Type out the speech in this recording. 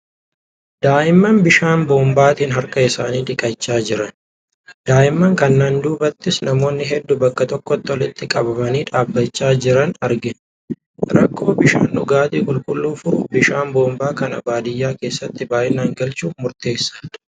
Daa'imman bishaan boombaatiin harka isaanii dhiqachaa jiran. Daa'imman kanaan duubattis namoota hedduu bakka tokkotti walitti qabamanii dhaabachaa jiran argina. Rakkoo bishaan dhugaatii qulqulluu furuuf bishaan boombaa kana baadiyaa keessatti baay'inaan galchuun murteessaadha.